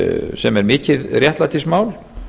sem er mikið réttlætismál